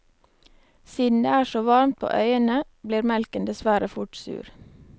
Siden det er så varmt på øyene blir melken dessverre fort sur.